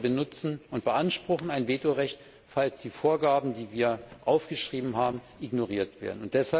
Aber wir benutzen und beanspruchen ein Vetorecht, falls die Vorgaben, die wir aufgeschrieben haben, ignoriert werden.